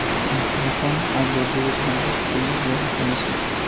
Photo খন আবেলিৰ ভাগত তুলি লোৱা হৈছিল।